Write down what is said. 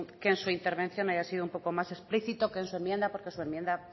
que en su intervención haya sido un poco más explícito que en su enmienda porque su enmienda